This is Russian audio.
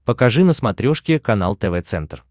покажи на смотрешке канал тв центр